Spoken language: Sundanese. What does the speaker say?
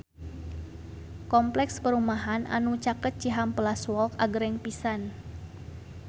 Kompleks perumahan anu caket Cihampelas Walk agreng pisan